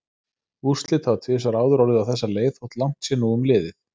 Úrslit hafa tvisvar áður orðið á þessa leið þótt langt sé nú um liðið.